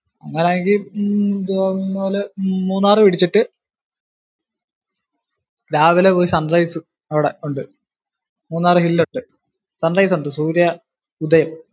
അങ്ങനാണെങ്കിൽ മൂന്നാർ പിടിച്ചിട്ടു രാവിലെ പോയി sunrise അവിടെ ഉണ്ട്. മൂന്നാർ sunrise ഉണ്ട്. സൂര്യ ഉദയം.